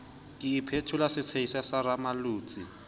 ke iphetola setshehisa sa rammolotsi